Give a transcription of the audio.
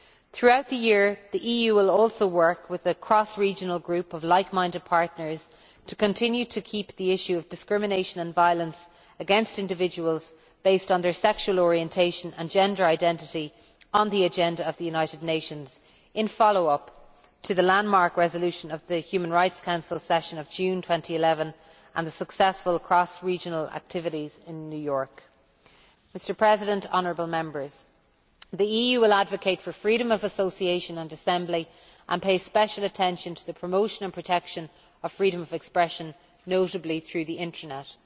Throughout the year, the EU will also work with a cross regional group of like minded partners to continue to keep the issue of discrimination and violence against individuals based on their sexual orientation and gender identity on the agenda of the United Nations, in follow up to the landmark resolution of the Human Rights Council session of June 2011 and the successful cross regional activities in New York. The EU will advocate freedom of association and assembly and pay special attention to the promotion and protection of freedom of expression, notably through the internet.